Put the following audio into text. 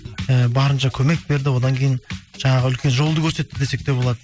і барынша көмек берді одан кейін жаңағы үлкен жолды көрсетті десек те болады